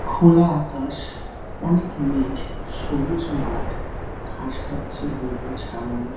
খোলা আকাশ অনেক মেঘ। সবুজ মাঠ ঘাস খাচ্ছে গরু ছাগল।